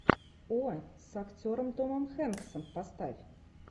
о с актером томом хенксом поставь